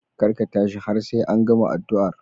Kar ka tashi har sai an gama addu'ar.